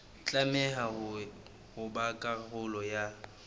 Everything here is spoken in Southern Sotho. tlameha ho ba karolo ya